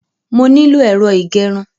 Mo nílò ẹ̀rọ ìgẹrun.